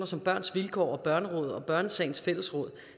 som børns vilkår og børnerådet og børnesagens fællesråd